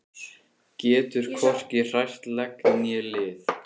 Getur hvorki hrært legg né lið.